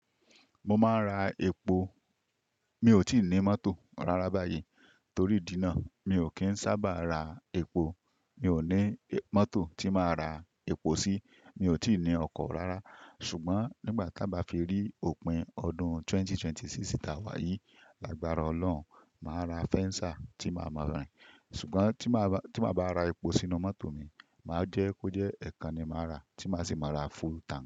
Mo máa ń ra epo, mi ò tí ì ní mọ́tò rárá báyìí torí ìdínà. Mi ò kí ń sábà ra epo, mi ò ní mọ́tò tí máa ra epo sí, mi ò tí ì ní ọkọ̀ rárá. Ṣùgbọ́n nígbà ta bá fi rí òpin ọdún 2026 tá wáyí, àgbára Ọlọ́run, màá ra fẹ́ńsá tí màá máa rìn. Ṣùgbọ́n tí màá bá, tí màá bá ra epo sínú mọ́tò mi, màá jẹ́ kó jẹ́ ẹ̀ẹ̀kan ni màá rà tí màá sì máa ra full tànk.